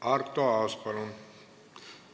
Arto Aas, palun!